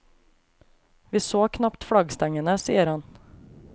Vi så knapt flaggstengene, sier han.